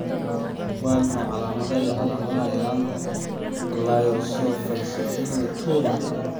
Waa maxay calaamadaha iyo calaamadaha yaraanta Glycosylphosphatidylinositoda?